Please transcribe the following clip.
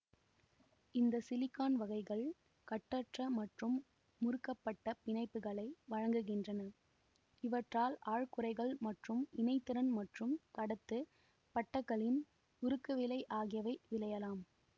இந்த சிலிக்கான் வகைகள் கட்டற்ற மற்றும் முறுக்கப்பட்ட பிணைப்புகளை வழங்குகின்றன இவற்றால் ஆழ் குறைகள் மற்றும் இணைதிறன் மற்றும் கடத்துப் பட்டகளின் உருக்குவிலை ஆகியவை விளையலாம்